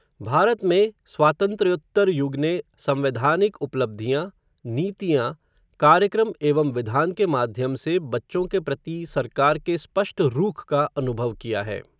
भारत में, स्वातंत्र्योत्तर युग ने संवैधानिक उपलब्धियाँ, नीतियाँ, कार्यक्रम एवं विधान के माध्यम से बच्चों के प्रति सरकार के स्पष्ट रूख का अनुभव किया है.